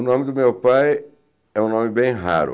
O nome do meu pai é um nome bem raro.